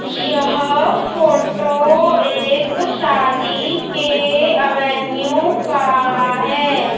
यह फोटो एक शादी के एवेन्यू का है।